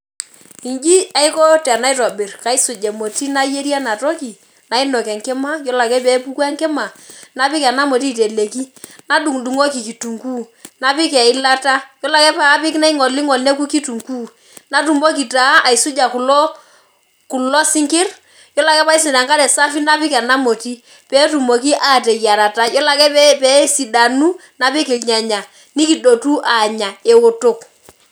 Inji aiko tanaitobir kaisuj emoti nayieri enatoki nainok enkima, ore pepok enkima napik emoti nadungdungoki kitunguu napik eilata ore ake paidip naingolingol neoku ketunguu, natumoki na aisuma kulo sinkir yiolo ake paisuk tenkare safi napik emoti petumoki ateyiarata yiolobake pesidanu napik irnyanya nikidotu anya eoto.